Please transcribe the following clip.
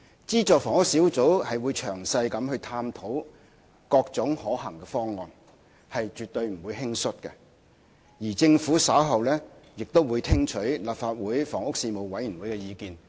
資助房屋小組會詳細探討各種可行的方案，絕不會輕率行事，而政府稍後亦會聽取立法會房屋事務委員會的意見。